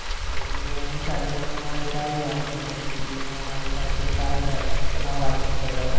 તો એમની સાથે પણ મારે સારી વાતચીત થતી હતી એ પણ મારી સાથે સારી સાચવીક આ વાતચીત કરતા હતા.